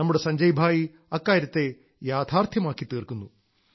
നമ്മുടെ സഞ്ജയ് ഭായി അക്കാര്യത്തെ യാഥാർഥ്യമാക്കി തീർക്കുന്നു